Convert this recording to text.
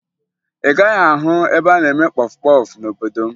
Ị gaghị ahụ ebe a na-eme kpọfụ kpọfụ n'obodo m